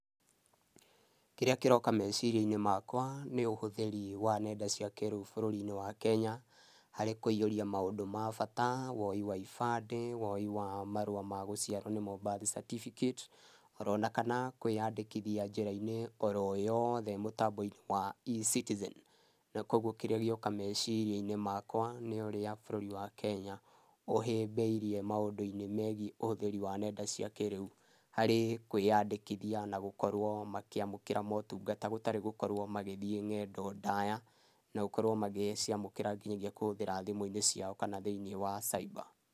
Kĩrĩa kĩroka meciria-inĩ makwa nĩ ũhũthĩrĩ wa ng'enda cia kĩrĩu bũrũri-inĩ wa Kenya harĩ kũihũrĩa maũndũ ma bata woi wa ibandĩ, woi wa marũa ma gũciarwo nimo birth certificate oro na kana kwĩyandĩkithia njĩra-inĩ oro yothe mũtambo-inĩ wa E-citizen. Na kwa ũgũo kĩrĩa gĩoka meciria-inĩ makwa nĩ ũrĩa bũrũri wa Kenya ũhĩmbĩirie maũndũ-inĩ megĩe ũhũthĩrĩ wa ng'enda cia kĩrĩu harĩ kwĩyandĩkithia na gũkorwo makĩamũkĩra motungata gũtarĩ gũkorwo magĩthĩĩ ng'endo ndaya, na gũkorwo magĩgĩciamũkĩra ngĩnyagia kũhũthĩra thimũ-inĩ ciao kana thĩinĩ wa cyber.